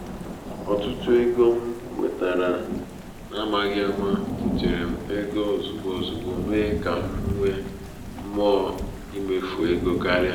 otutu otutu ego m nwetara n’amaghị ama butere m ego ozugbo ozugbo mee ka m nwee mmụọ imefu ego karịa.